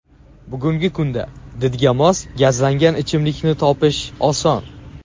Bugungi kunda didga mos gazlangan ichimlikni topish oson.